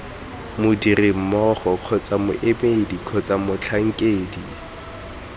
modirimmogo kgotsa moemedi kgotsa motlhankedi